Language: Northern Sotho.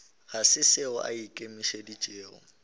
ga se seo a ikemišeditšego